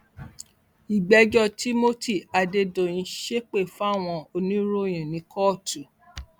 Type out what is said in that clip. ìgbẹjọ timothy adédèyìn ṣépè fáwọn oníròyìn ní kóòtù